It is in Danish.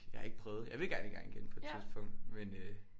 Jeg har ikke prøvet jeg vil gerne i gang igen på et tidspunkt men øh